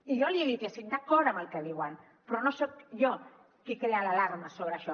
i jo li he dit que hi estic d’acord amb el que diuen però no soc jo qui crea l’alarma sobre això